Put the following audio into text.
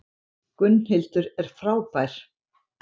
Gunnhildur er frábær.